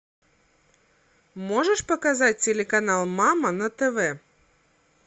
можешь показать телеканал мама на тв